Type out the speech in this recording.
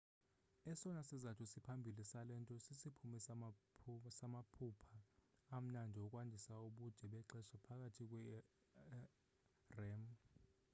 esona sizathu siphambili sale nto sisiphumo samaphupha amnandi okwandisa ubude bexesha phakathi kwe-rem